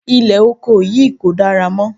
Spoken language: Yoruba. Ilẹ̀ oko yìí kò dára mọ́.